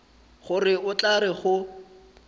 gore o tla re go